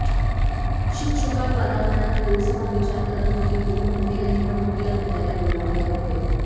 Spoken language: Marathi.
शुकशुकाट वातावरणात लोकसभा विचार करत होती होऊ घातलेल्या निवडणुकीला भेटायला बोलावले होते